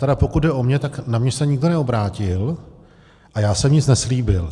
Tedy pokud jde o mě, tak na mě se nikdo neobrátil a já jsem nic neslíbil.